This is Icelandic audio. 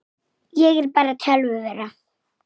Hlaut að vera Fjóla.